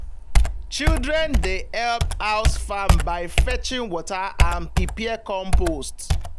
children dey help house farm by fetching water and prepare compost.